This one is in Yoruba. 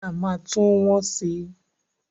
Táyà máa tún wọ́n si.